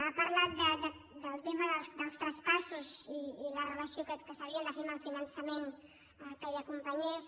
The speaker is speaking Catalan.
ha parlat del te·ma dels traspassos i la relació que s’havia de fer amb el finançament que hi acompanyés